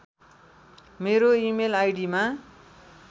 मेरो इमेल आईडिमा